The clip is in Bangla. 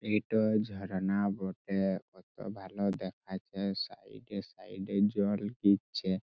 এটো ঝর্ণা বটে কত ভালো দেখাচ্ছে সাইড -এ সাইড -এ জল দিচ্ছে।